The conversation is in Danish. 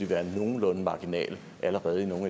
være nogenlunde marginale allerede i nogle